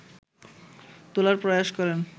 তোলার প্রয়াস করেন